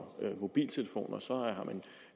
mobiltelefoner